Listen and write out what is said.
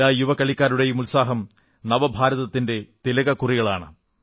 എല്ലാ യുവ കളിക്കാരുടെയും ഉത്സാഹം നവഭാരതത്തിന്റെ തിലക്കുറികളാണ്